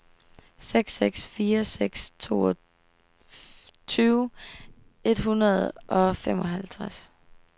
seks seks fire seks toogtyve et hundrede og femoghalvtreds